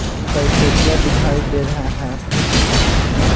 कई कुर्सिया दिखाई दे रहा है।